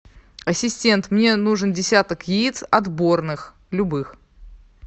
ассистент мне нужен десяток яиц отборных любых